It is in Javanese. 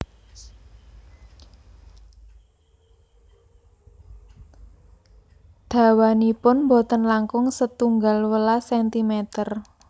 Dawanipun boten langkung setunggal welas sentimer